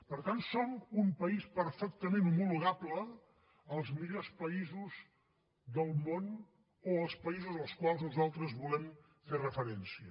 per tant som un país perfectament homologable als millors països del món o als països als quals nosaltres volem fer referència